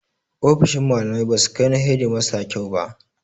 Ofisoshin malamai ba su kai na hedimasta kyau ba.